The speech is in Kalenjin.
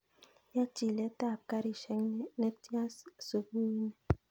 Yaa chilet ab garishek netian subui nii